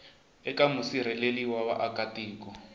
eka musirheleli wa vaaka tiko